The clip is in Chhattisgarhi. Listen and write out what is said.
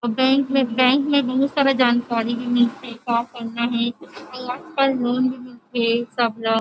बैंक में बैंक में बहुत सारा जानकारी भी मिलथे का करना हे भी अऊ आजकल लॉन भी मिलथे सब ल --